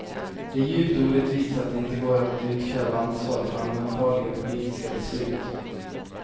Det är djupt orättvist att det inte går att utkräva ansvar för allmänfarliga politiska beslut.